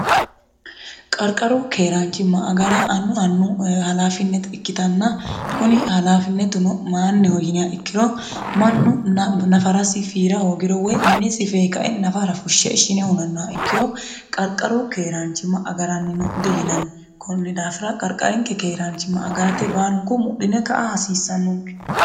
qarqaru keeraanchimma agara annu annu halaafinnete ikkitanna kuni halaafinetuno maayinniho yinniha ikkiro mannu nafarasi fiira hoogiro woy minesi fee kae nafara fushshe ishine hunonnoha ikkiro qarqaru keeraanchimma agarannino diyinanni konni daafira qarqarinke keeraanchimma agarate baalunku mudhine ka'a hasiissannonke